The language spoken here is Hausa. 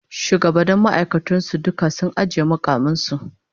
Shugabannnin ma'aikatar su duka sun ajiye mukaman su